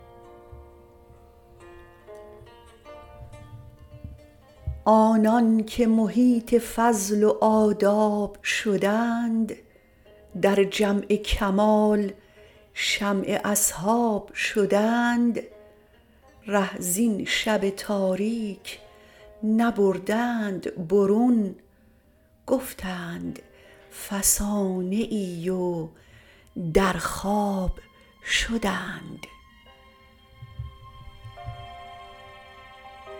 آنان که محیط فضل و آداب شدند در جمع کمال شمع اصحاب شدند ره زین شب تاریک نبردند برون گفتند فسانه ای و در خواب شدند